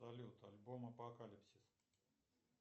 салют альбом апокалипсис